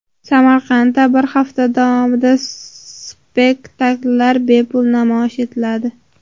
Samarqandda bir hafta davomida spektakllar bepul namoyish etiladi.